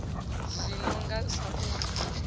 zwi no nga sa u